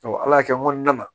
ala y'a kɛ n kɔnɔna na